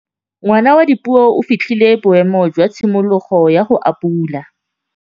Ngwana wa Dipuo o fitlhile boêmô jwa tshimologô ya go abula.